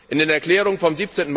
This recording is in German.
In den Erklärungen vom